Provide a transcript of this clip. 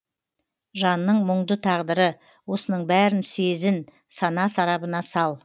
жанның мұңды тағдыры осының бәрін сезін сана сарабына сал